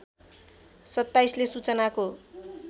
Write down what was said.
२७ ले सूचनाको